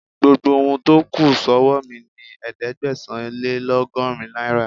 Gbogbo ohun tó kù sọ́wọ́ mi ni ẹ̀ẹ́dẹ́gbẹ̀sán-lé-lọ́gọ́rin náírà..